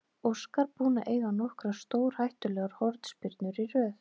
Óskar búinn að eiga nokkrar stórhættulegar hornspyrnur í röð.